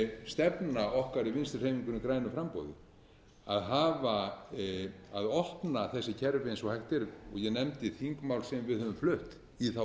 stefna okkar í vinstri hreyfingunni grænu framboði að opna þessi kerfi eins og hægt er og ég nefndi þingmál sem við höfum flutt í þá